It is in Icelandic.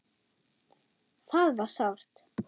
Það var sárt.